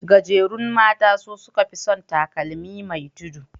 Gajerun mata su suka fi san takalmi mai tudu.